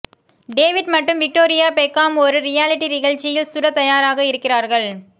David மற்றும் Victoria Beckham ஒரு reality நிகழ்ச்சியில் சுட தயாராக இருக்கிறார்கள்